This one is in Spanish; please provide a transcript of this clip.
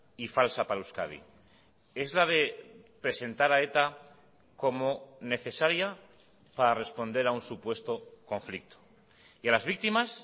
y falsa para euskadi es la de presentar a eta como necesaria para responder a un supuesto conflicto y a las víctimas